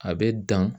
A bɛ dan